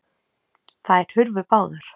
Þær hurfu báðar.